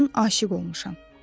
Mən aşiq olmuşam.